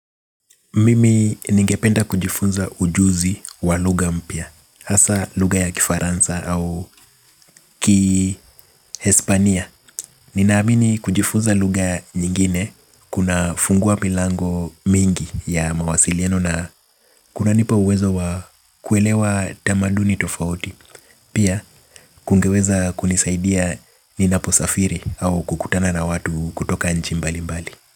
Mimi ningependa kujifunza ujuzi wa lugha mpya hasa lugha ya kifaransa au kihispania. Ninaamini kujifunza lugha nyingine kuna fungua milango mingi ya mawasiliano na kuna nipa uwezo wa kuelewa tamaduni tofauti. Pia kungeweza kunisaidia ninaposafiri au kukutana na watu kutoka nchi mbali mbali.